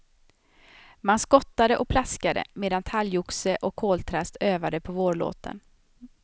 Man skottade och plaskade, medan talgoxe och koltrast övade på vårlåten.